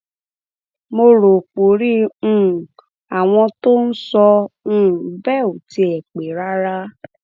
mo rò porí um àwọn tó ń sọ um bẹẹ ò tiẹ pẹ rárá